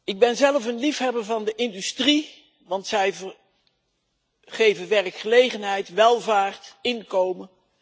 Ik ben zelf een liefhebber van de industrie, want zij geeft werkgelegenheid, welvaart, inkomen.